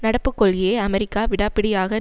நடப்புக்கொள்கையை America விடாப்பிடியாக